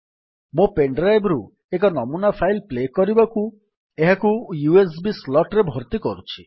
ମୋ pen drive ରୁ ଏକ ନମୁନା ଫାଇଲ୍ ପ୍ଲେ କରିବାକୁ ଏହାକୁ ୟୁଏସବି ସ୍ଲଟ୍ ରେ ଭର୍ତ୍ତି କରୁଛି